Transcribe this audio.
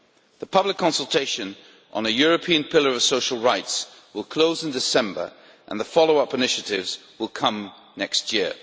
The public consultation on a European pillar of social rights will close in December and the follow-up initiatives will come next year.